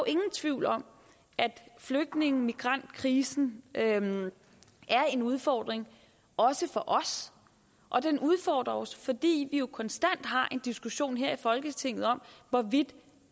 ingen tvivl om at flygtninge og migrantkrisen er en udfordring også for os den udfordrer os fordi vi jo konstant har en diskussion her i folketinget om hvorvidt